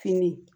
Fini